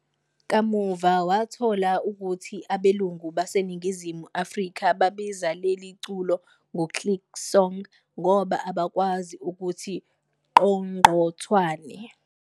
Kamuva, wathola ukuthi abelungu baseNingizimu Afrika babiza leli culo "ngoClick Song" ngoba abakwazi ukuthi "Qongqothwane".